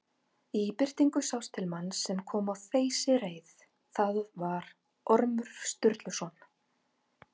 Í birtingu sást til manns sem kom á þeysireið, það var Ormur Sturluson.